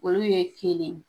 Olu ye kelen.